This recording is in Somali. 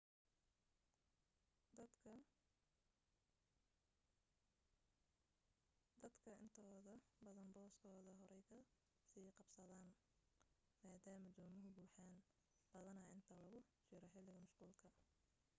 dadka intooda badani booskooda horey ka sii qabsadaan maadaama doomuhu buuxaan badanaa inta lagu jiro xilliga mashquulka